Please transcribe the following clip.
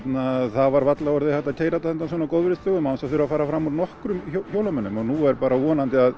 það var varla orðið hægt að keyra þetta á góðviðrisdögum án þess að fara fram úr nokkrum hjólamönnum og nú er bara að vonandi að